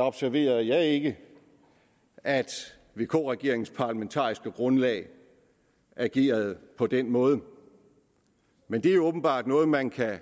observerede jeg ikke at vk regeringens parlamentariske grundlag agerede på den måde men det er åbenbart noget man kan